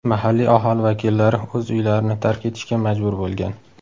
Mahalliy aholi vakillari o‘z uylarini tark etishga majbur bo‘lgan.